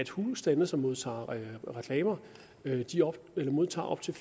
husstande som modtager reklamer modtager op til